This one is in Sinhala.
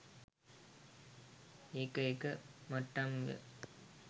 එක එක මට්ටම් ය.